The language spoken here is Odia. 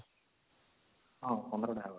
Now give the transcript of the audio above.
ହଁ ୧୫ ଟା